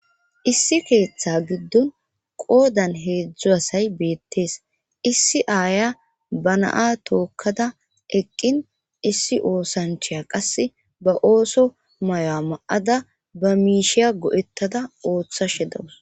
Issi keeththe giddon qoodan heedzdzu asay beettees issi aaya ba naa tookkada eqqin issi oosanchaya qase ba ooso mayo7a ma7ada ba miishiya go7ettada ooththa she dawus